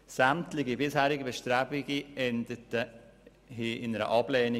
Sämtliche bisherigen Bestrebungen in diese Richtung endeten mit einer Ablehnung.